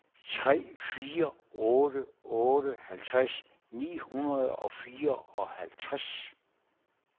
tre fire otte otte halvtreds ni hundrede og fireoghalvtreds